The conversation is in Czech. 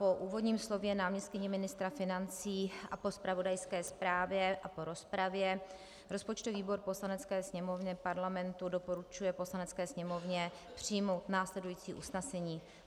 Po úvodním slově náměstkyně ministra financí a po zpravodajské zprávě a po rozpravě rozpočtový výbor Poslanecké sněmovny Parlamentu doporučuje Poslanecké sněmovně přijmout následující usnesení.